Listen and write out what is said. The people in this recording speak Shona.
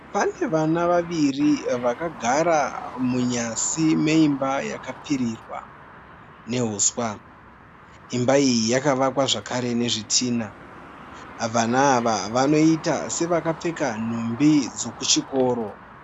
Pane vana vaviri vakagara munyasi meimba yakapfirirwa neuswa. Imba iyi yakavakwa zvakare nezvitinha. Vana ava vanoita sevakapfeka mhumbi dzokuchikoro.